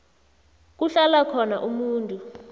kuhlala khona umuntu